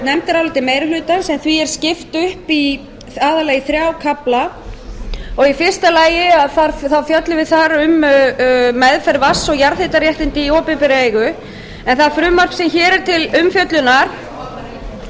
nefndaráliti meiri hlutans en því er skipt upp aðallega í þrjá kafla og í fyrsta lagi fjöllum við þar um meðferð vatns og jarðhitaréttinda í opinberra eigu en það frumvarp sem hér er til umfjöllunar forseti vill biðja háttvirtan